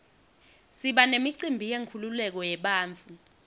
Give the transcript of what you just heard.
siba nemicimbi yenkululeko yebantfu